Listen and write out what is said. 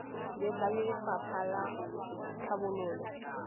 le ba lefapha la tlhabololo